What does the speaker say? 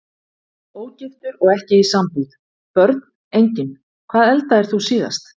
Ógiftur og ekki í sambúð Börn: Engin Hvað eldaðir þú síðast?